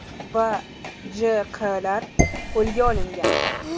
va J.Q.lar qo‘lga olingan.